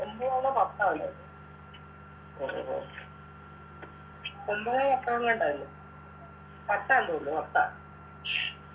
ഒമ്പതാണോ പത്താണോ ഒമ്പതാ പത്താങാണ്ടാ ഇന്ന് പത്താം തോന്നു പത്താ